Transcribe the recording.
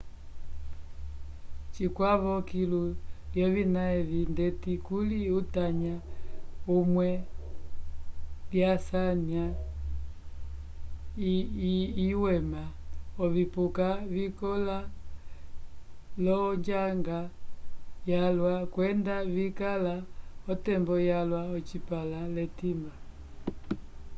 cikwavo kilu lyovina evi ndeti kuli utanya umwe lyasanya iwema ovipuka vikõla l'onjanga yalwa kwenda vikala otembo yalwa ocipãla l'etimba